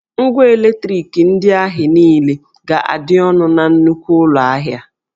Ngwà eletriki ndị ahị niile ga-adị ọnụ na nnukwu ụlọ ahịa